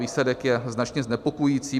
Výsledek je značně znepokojující.